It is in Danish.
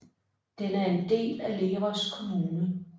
Den er en del af Leros kommune